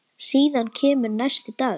Síðan kemur næsti dagur.